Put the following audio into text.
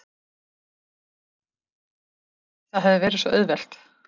Það hefði verið svo auðvelt.